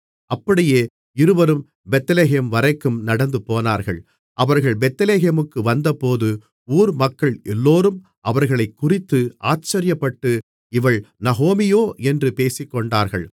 அப்படியே இருவரும் பெத்லெகேம்வரைக்கும் நடந்துபோனார்கள் அவர்கள் பெத்லெகேமுக்கு வந்தபோது ஊர் மக்கள் எல்லோரும் அவர்களைக் குறித்து ஆச்சரியப்பட்டு இவள் நகோமியோ என்று பேசிக்கொண்டார்கள்